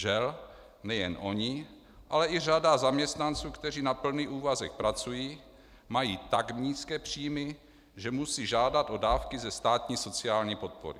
Žel, nejen oni, ale i řada zaměstnanců, kteří na plný úvazek pracují, mají tak nízké příjmy, že musí žádat o dávky ze státní sociální podpory.